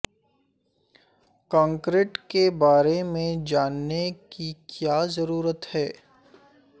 concrete کے بارے میں جاننے کی کیا ضرورت ہے